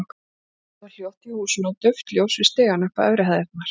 Allt var hljótt í húsinu og dauft ljós við stigann upp á efri hæðirnar.